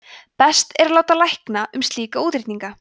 best er að láta lækna um slíka útreikninga